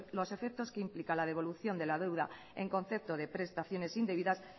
los efectos que implica la devolución de la deuda en concepto de prestaciones indebidas